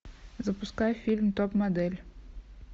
запускай фильм топ модель